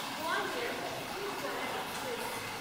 Gwalior-Chhindwara express